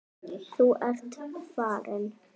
Þú ert farinn.